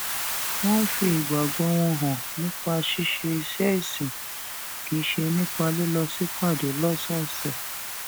wón ń fi ìgbàgbó wọn hàn nípa ṣíṣe iṣé ìsìn kì í ṣe nípa lílọ sípàdé lósòòsè